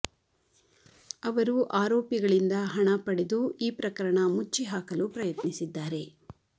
ಅವರು ಆರೋಪಿಗಳಿಂದ ಹಣ ಪಡೆದು ಈ ಪ್ರಕರಣ ಮುಚ್ಚಿ ಹಾಕಲು ಪ್ರಯತ್ನಿಸಿದ್ದಾರೆ